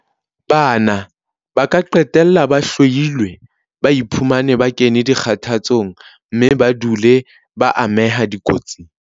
Bana ba ka qetella ba hloilwe, ba iphumane ba kene dikgathatsong mme ba dule ba ameha dikotsing.